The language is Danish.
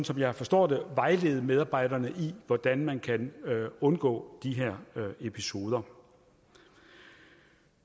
som jeg forstår det vejlede medarbejderne i hvordan man kan undgå de her episoder